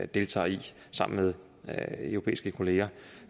deltager i sammen med europæiske kollegaer